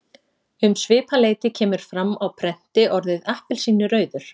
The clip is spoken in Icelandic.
Um svipað leyti kemur fram á prenti orðið appelsínurauður.